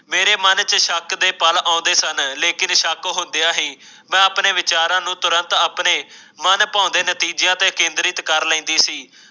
ਮੇਰੇ ਮਨ ਚ ਲਸ਼ਕਰ ਦੇ ਪਲ ਆਉਂਦੇ ਸਨ ਪਰ ਹੁੰਦਿਆਂ ਵੀ ਆਪਣੇ ਵਿਚਾਰਾਂ ਨੂੰ ਆਪਣੇ ਨਤੀਜਿਆਂ ਦੇ ਮਨਭਾਉਂਦੇ ਕੇਂਦਰਿਤ ਕਰ ਲੈਂਦੀ ਸੀ